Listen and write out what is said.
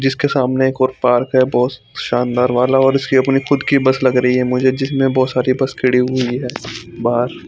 जिसके सामने एक और पार्क है बहोत शानदार वाला और इसकी अपनी खुद की बस लग रही है मुझे जिसमें बहोत सारी बस खड़ी हुई है बाहर--